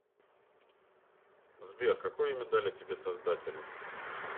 сбер какое имя дали тебе создатели